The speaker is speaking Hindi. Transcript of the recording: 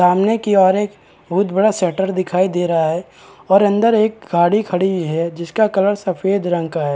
सामने की ओर एक बहुत बड़ा शटर दिखाई दे रहा है और अंदर एक गाड़ी खड़ी है जिसका कलर सफ़ेद रंग का है।